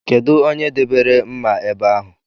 Kedụ onye debere mma ebe ahụ?